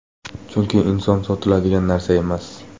Chunki inson sotiladigan narsa emas.